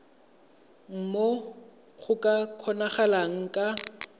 moo go ka kgonagalang ka